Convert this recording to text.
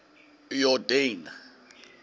yordane